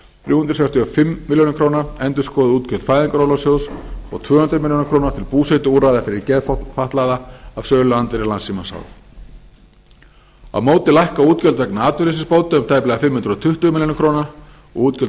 þrjú hundruð sextíu og fimm milljónir króna endurskoðuð útgjöld fæðingarorlofssjóðs og tvö hundruð milljóna króna til búsetuúrræða fyrir geðfatlaða af söluandvirði landssímans h f á móti lækka útgjöld vegna atvinnuleysisbóta um tæplega fimm hundruð tuttugu milljónir króna og útgjöld